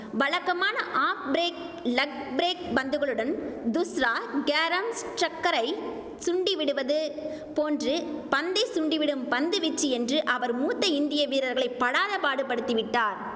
வழக்கமான off break leg break பந்துகளுடன் தூஸ்ரா கேரம் ஸக்ரரை சுண்டிவிடுவது போன்று பந்தை சுண்டிவிடும் பந்து வீச்சு என்று அவர் மூத்த இந்திய வீரர்களை படாதபாடு படுத்திவிட்டார்